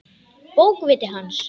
Bókviti hans?